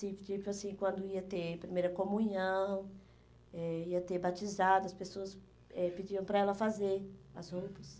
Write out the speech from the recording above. Tipo assim, quando ia ter primeira comunhão, eh ia ter batizado, as pessoas eh pediam para ela fazer as roupas.